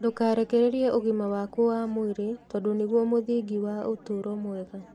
Ndũkarekererie ũgima waku wa mwĩrĩ, tondũ nĩguo mũthingi wa ũtũũro mwega.